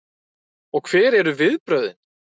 Og hver eru viðbrögðin?